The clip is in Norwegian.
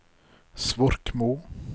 Svorkmo